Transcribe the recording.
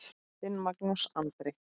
Þinn, Magnús Andri.